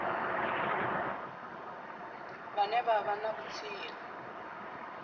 vhane vha vha na vhutsila